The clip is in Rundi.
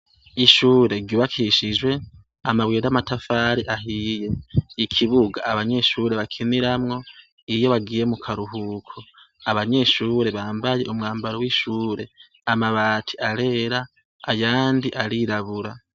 Ishure ry'ubakishijwe amabuye namatafari ahiye ,ikibuga abanyeshure bakiniramwo iyo bagiye mukaruhuko, abanyeshure bambaye umwambaro wishure, amabati arera ayandi arirabura